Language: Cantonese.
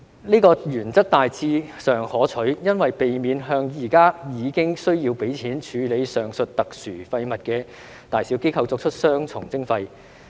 這個原則大致上可取，因為避免向現時已經需要付費處理上述特殊廢物的大小機構作出雙重徵費。